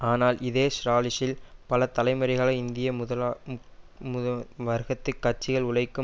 ஆனால் இதே ஸ்ராலிசில் பல தலைமுறைகளை இந்திய வர்க்கத்தி கட்சிகள் உழைக்கும்